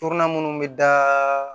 Torona minnu bɛ da